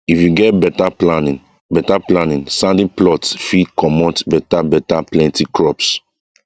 if you get better planning better planning sandy plots fit comot better better plenty crops